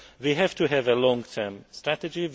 We have to have a long term strategy.